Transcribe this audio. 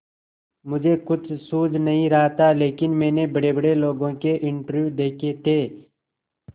मुझे कुछ सूझ नहीं रहा था लेकिन मैंने बड़ेबड़े लोगों के इंटरव्यू देखे थे